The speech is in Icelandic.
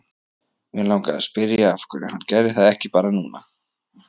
Mig langaði að spyrja af hverju hann gerði það ekki bara núna.